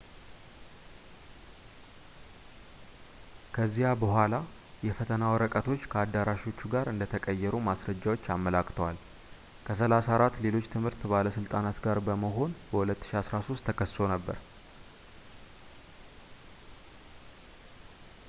ከዚያ በኋላ የፈተና ወረቀቶች ከአዳራሾቹ ጋር እንደተቀየሩ ማስረጃዎች አመላክተዋል ከ 34 ሌሎች የትምህርት ባለሥልጣናት ጋር በመሆን በ 2013 ተከሰው ነበር